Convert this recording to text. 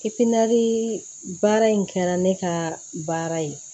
baara in kɛra ne ka baara ye